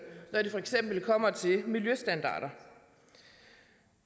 når det for eksempel kommer til miljøstandarder